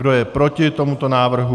Kdo je proti tomuto návrhu?